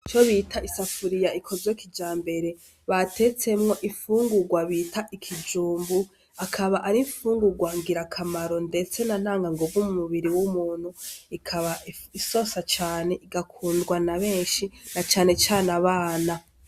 Nico bita isafuriya ikozwekija mbere batetsemwo ifungurwa bita ikijumbu akaba arifungurwa ngira akamaro, ndetse na ntanga nguvu mu mubiri w'umuntu ikaba isosa cane igakundwa na benshi na canecane abana.